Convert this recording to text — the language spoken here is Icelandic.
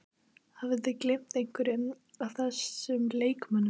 Hafið þið gleymt einhverjum af þessum leikmönnum?